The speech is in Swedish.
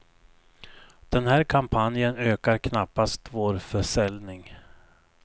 Den här kampanjen ökar knappast vår försäljning.